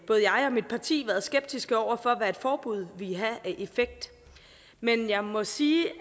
jeg og mit parti været skeptiske over for hvad et forbud ville have af effekt men jeg må sige